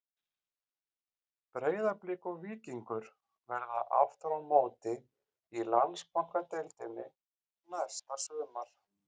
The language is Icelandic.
Breiðablik og Víkingur verða aftur á móti í Landsbankadeildinni næsta sumar.